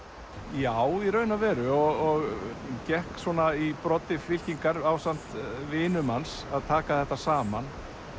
já í raun og veru og gekk í broddi fylkingar ásamt vinum hans að taka þetta saman